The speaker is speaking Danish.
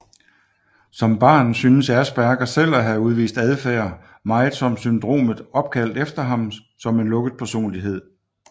Som barn synes Asperger selv at have udvist adfærd meget som syndromet opkaldt efter ham som en lukket personlighed